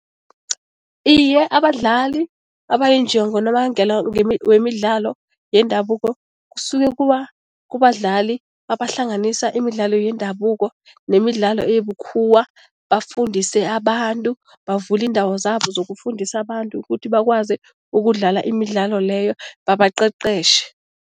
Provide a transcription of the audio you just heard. Iye, abadlali ngonobangela wemidlalo yendabuko kusuke kubadlali abahlanganisa imidlalo yendabuko nemidlalo ebukhuwa, bafundise abantu, bavule iindawo zabo zokufundisa abantu ukuthi bakwazi ukudlala imidlalo leyo, babaqeqetjhe.